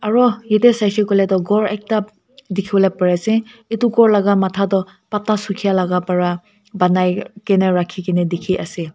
aro yete saishae koile tu ghor ekta dikibolae pari ase etu ghor laka matha tu batha sukia laka pera banai kina raki kina diki ase.